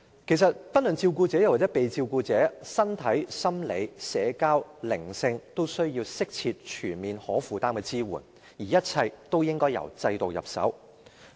其實，不論照顧者或受照顧者，其身體、心理、社交和心靈均需要適切、全面和可負擔的支援，而一切均應由制度入手。